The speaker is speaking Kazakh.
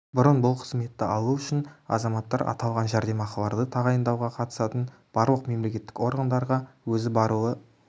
бұрын бұл қызметті алу үшін азаматтар аталған жәрдемақыларды тағайындауға қатысатын барлық мемлекеттік органдарға өзі баруы